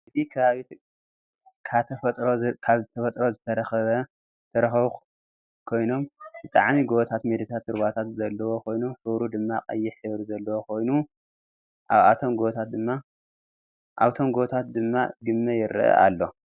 እዚ ከባቢ ካተፈጥሮ ዝተረከቡ ኮይኖብ ብጣዕሚ ጎቦታት ሜዳታትን ሩባታት ዘለዎ ኮይኑ ሕብሩ ድማ ቀይሕ ሕብሪ ዘለዎ ኮይኑ ኣብቶም ጎቦታት ድማ ግመ ይረኣ ኣሎ።